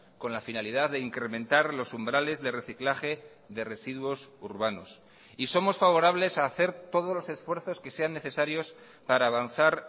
con la finalidad de incrementar los umbrales de reciclaje de residuos urbanos y somos favorables a hacer todos los esfuerzos que sean necesarios para avanzar